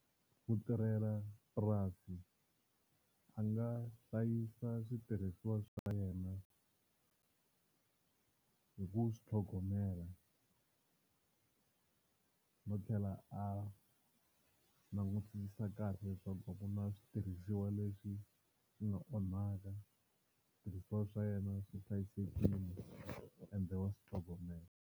Mutirhelapurasi a nga hlayisa switirhisiwa swa yena hi ku swi tlhogomela no tlhela a langutisisa kahle leswaku a ku na switirhisiwa leswi swi nga onhaka, switirhisiwa swa yena swi hlayisekile ende wa swi tlhogomela.